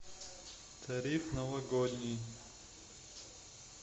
тариф новогодний